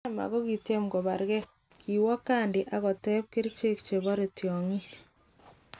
Prema kokityem kobarge"kiowe kandi akateb kerichek chebore tiokyik.